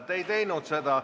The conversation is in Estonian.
Te ei teinud seda.